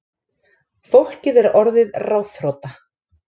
Fólkið er orðið ráðþrota